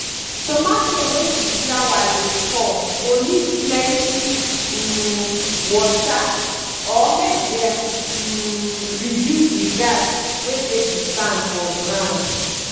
tomato wey di flower dey fall go need plenty um water or make dem um reduce di gas wey dey di sand for grand.